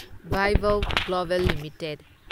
Vaibhav global limited